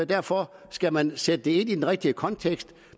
derfor skal man sætte det ind i den rigtige kontekst